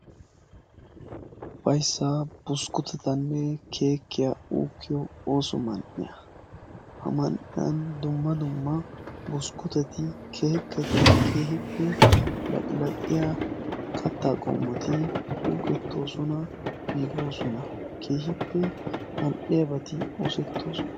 Ufayssa buskkutettanne keekkiyaa uukkiyo ooso man"iyaa; ha man"iyaa dumma dumma buskkutetti laqqilaqqiyaa katta qommoti ukkettoosona giiggoosona; keehippe mal"iyaabati oosetoona.